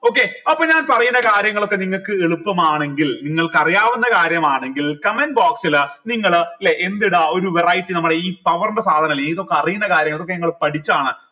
okay അപ്പൊ ഞാൻ പറയുന്ന കാര്യങ്ങളൊക്കെ നിങ്ങൾക്ക് എളുപ്പമാണെങ്കിൽ നിങ്ങൾക്ക് അറിയാവുന്ന കാര്യമാണെങ്കിൽ comment box ൽ നിങ്ങൾ ല്ലെ എന്തിട ഒരു variety നമ്മടെ ഈ power ൻ്റെ സാധനില്ലേ ഇതൊക്കെ അറീന്നെ കാര്യങ്ങൾ ഇതൊക്കെ നിങ്ങൾ പഠിച്ചാണ്